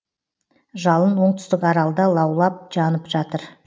жалын оңтүстік аралда лаулап жанып жатыр